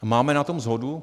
Máme na tom shodu.